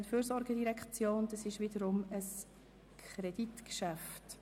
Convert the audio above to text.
dies ist wiederum ein Kreditgeschäft.